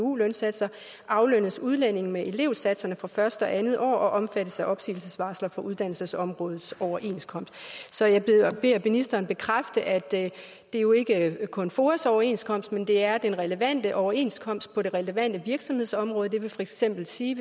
lønsatser aflønnes udlændingen med elevsatserne for første og andet år og omfattes af opsigelsesvarsler fra uddannelsesområdets overenskomst så jeg beder ministeren bekræfte at det jo ikke kun er foas overenskomst men at det er den relevante overenskomst på det relevante virksomhedsområde der vil for eksempel sige